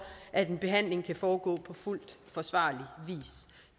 at en behandling kan foregå på fuldt forsvarlig